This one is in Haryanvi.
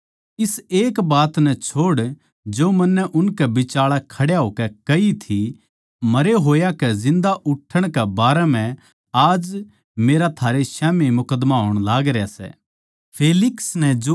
इस एक बात नै छोड़ जो मन्नै उनकै बिचाळै खड्या होकै कही थी मरे होया के जिन्दा उठण कै बारै म्ह आज मेरा थारै स्याम्ही मुकद्दमा होण लागरया सै